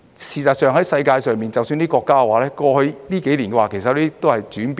事實上，世界上的一些國家在過去這幾年，其實都有所轉變。